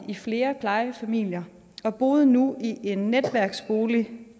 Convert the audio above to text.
i flere plejefamilier hun boede nu i en netværksbolig